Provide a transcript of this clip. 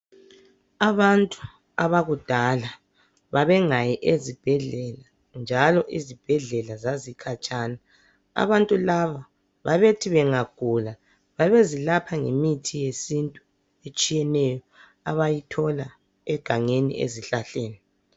Abantu abakudala babengayi ezibhedlela njalo izibhedlela zazikhatshana abantu laba babethi bengagula babezilapha ngemithi yesintu etshiyeneyo abayithola egangeni ezihlahleni.